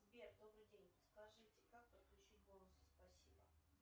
сбер добрый день скажите как подключить бонусы спасибо